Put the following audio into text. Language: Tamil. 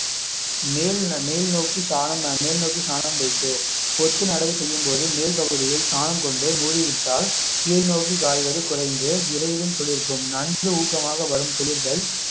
மேல் மேல் நோக்கி சாணம் மேல் நோக்கி சாணம் பேசு பொத்து நடவு செய்யும்போது மேல் பகுதியில் சாணம் கொண்டு மூடிவிட்டால் கீழ் நோக்கி காய்வது குறைந்து விரைவில் துளிர்க்கும் நன்கு ஊக்கமாக வரும் துளிர்கள்